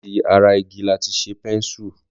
Láti ara igi lati ṣe pẹ́ńṣù.